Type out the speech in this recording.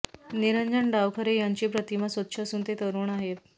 निरंजन डावखरे यांची प्रतिमा स्वच्छ असून ते तरुण आहेत